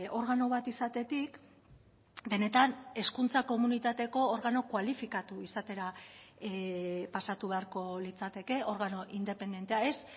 organo bat izatetik benetan hezkuntza komunitateko organo kualifikatu izatera pasatu beharko litzateke organo independentea ez